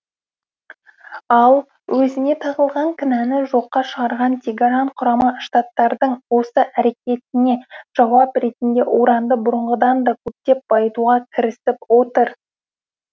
ал өзіне тағылған кінәні жоққа шығарған тегеран құрама штаттардың осы әрекетіне жауап ретінде уранды бұрынғыдан да көптеп байытуға кірісіп отыр